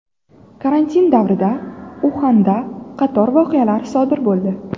Karantin davrida Uxanda qator voqealar sodir bo‘ldi.